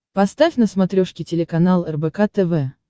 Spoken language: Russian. поставь на смотрешке телеканал рбк тв